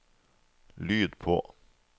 lyd på